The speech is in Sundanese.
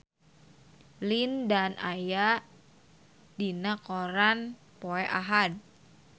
Lin Dan aya dina koran poe Ahad